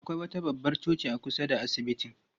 Akwai wata babbar coci a kusa da asibitin.